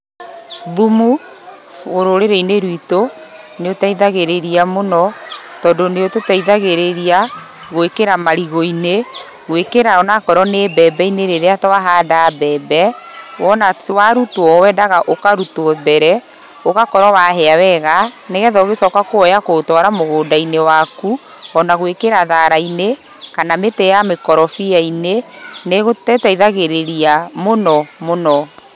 Thumu rũrĩrĩ-inĩ rwitũ nĩ ũteithagĩrĩria mũno tondũ nĩ ũtũteithagĩrĩria gũĩkĩra marigũ-inĩ, gũĩkĩra onakorwo nĩ mbembe-inĩ rĩrĩa twahanda mbembe. Wona warutuo, wendaga ũkarutuo mbere ũgakorwo wahĩa wega, nĩgetha ũgĩcoka kũoya kũũtwara mũgũnda-inĩ waku, ona gũĩkĩra thara-inĩ kana mĩtĩ ya mĩkorobia-inĩ, nĩ ĩteithagĩrĩria mũno mũno.